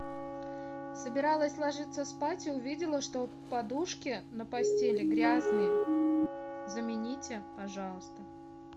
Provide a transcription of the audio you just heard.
собиралась ложиться спать и увидела что подушки на постели грязные замените пожалуйста